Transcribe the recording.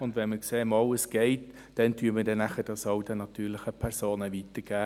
Und wenn wir sehen, dass das geht, geben wir es auch den natürlichen Personen weiter.